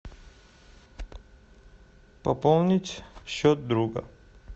пополнить счет друга